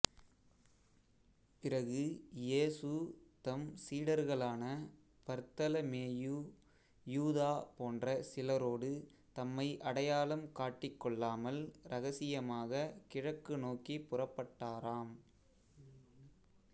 பிறகு இயேசு தம் சீடர்களான பர்த்தலமேயு யூதா போன்ற சிலரோடு தம்மை அடையாளம் காட்டிக்கொள்ளாமல் இரகசியமாகக் கிழக்கு நோக்கிப் புறப்பட்டாரம்